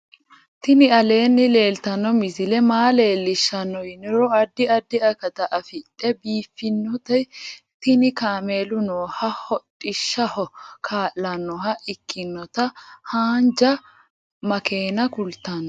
tini alee leelitanno misile maa leelishshanno yiniro addi addi akata afidhe biiffinoti tini kaamelu nooha hodhishshaho kaa'lannoha ikkinota haanja makeena kultanno